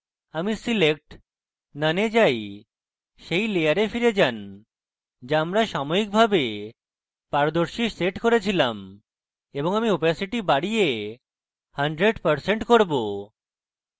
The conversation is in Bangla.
আমি select>> none we যাই set layer ফিরে যান যা আমরা সাময়িকভাবে পারদর্শী set করে ছিলাম এবং আমি opacity বাড়িয়ে 100% করব